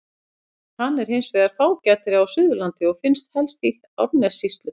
Hann er hins vegar fágætari á Suðurlandi og finnst helst í Árnessýslu.